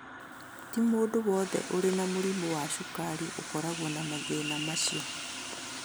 Ti mũndũ wothe ũrĩ na mũrimũ wa cukari ũkoragwo na mathĩna macio